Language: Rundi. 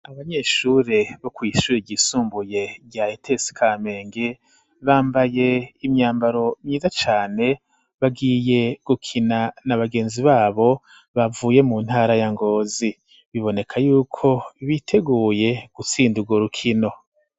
Abanyeshure bo kwishure igisumbuye rya ete sikamenge bambaye imyambaro myiza cane bagiye gukina nabagenzi babo bavuye mu ntara ya ngozi biboneka yuko biteguye gutsindurwo rukino.